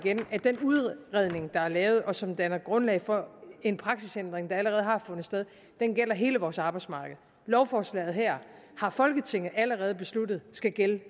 at den udredning der er lavet og som danner grundlag for en praksisændring der allerede har fundet sted gælder hele vores arbejdsmarked lovforslaget her har folketinget allerede besluttet skal gælde